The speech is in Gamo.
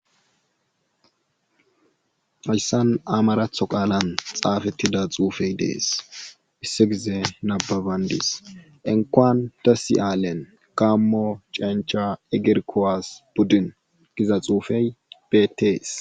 Hayssan amaratho qaalan xeefettida xuufey dees issa gize nabbabanddis inkkuwan dessi alen gaammo cencha igir kuwasi budin giza xuufey beetees.